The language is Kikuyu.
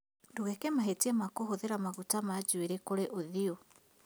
Ndugeeke mahĩtia ma kũhũthĩra maguta ma njuĩrĩ kũrĩ ũthiũ